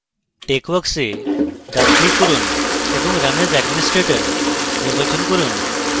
texworks এ ডান click run এবং run as administrator নির্বাচন run